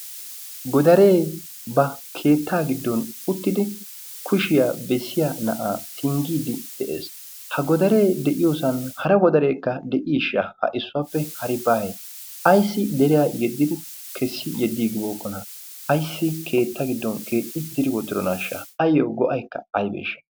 godaree ba keettaa giddon uttidi kushiyaa bessiya na'aa singgiiddi de'ees ha godaree de'iyoosan hara godareekka de'iishsha ha issuwaappe hari bay ayssi deriyaa yeddidi kessi yeddi gibooqqona ayssi keetta giddon keetti diri wotironaashsha ayyo go'aykka aybeesha